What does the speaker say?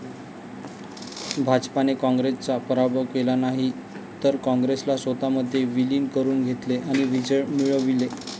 भाजपने काँग्रेसचा पराभव केला नाही, तर काँग्रेसला स्वतःमध्ये विलीन करून घेतले आणि विजय मिळविले.